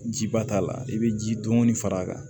Jiba t'a la i bɛ ji dɔɔni far'a kan